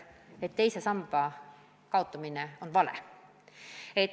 Leitakse, et teise samba kaotamine on vale.